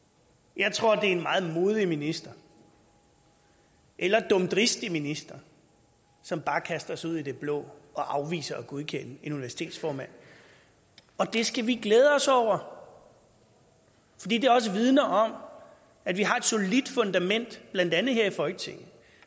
jeg tror at det er en meget modig minister eller dumdristig minister som bare kaster sig ud i det blå og afviser at godkende en universitetsformand og det skal vi glæde os over fordi det også vidner om at vi har et solidt fundament blandt andet her i folketinget